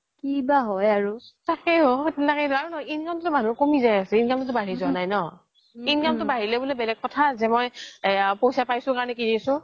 কি বা হয় আৰু তাকেই অ আৰু নহয় income তো মানুহৰ কমি যাই আছে income তো বাঢ়ি যোৱা নাই ন income তো বাঢ়িলে বুলো বেলেগ কথা যে মই পইচা পাইচো কৰনে কিনিচো